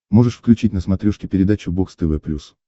можешь включить на смотрешке передачу бокс тв плюс